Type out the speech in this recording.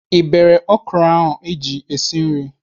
Ị bere ọkwụrụ iji esi nri?